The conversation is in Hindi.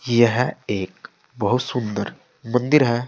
यह एक बहुत सुंदर मंदिर है।